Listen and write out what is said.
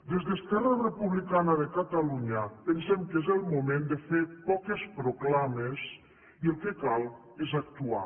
des d’esquerra republicana de catalunya pensem que és el moment de fer poques proclames i el que cal és actuar